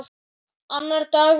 Annar dagur jóla.